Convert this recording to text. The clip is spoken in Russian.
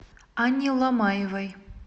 анне ломаевой